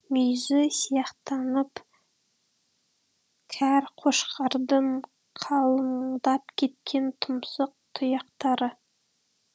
мүйізі сияқтанып кәр қошқардың қалыңдап кеткен тұмсық тұяқтары